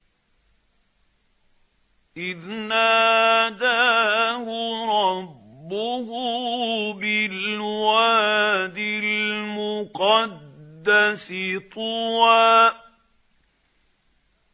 إِذْ نَادَاهُ رَبُّهُ بِالْوَادِ الْمُقَدَّسِ طُوًى